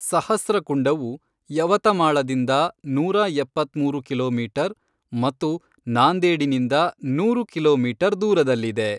ಸಹಸ್ರಕುಂಡವು ಯವತಮಾಳದಿಂದ ನೂರಾ ಎಪ್ಪತ್ಮೂರು ಕಿಲೋಮೀಟರ್ ಮತ್ತು ನಾಂದೇಡಿನಿಂದ ನೂರು ಕಿಲೋಮೀಟರ್ ದೂರದಲ್ಲಿದೆ.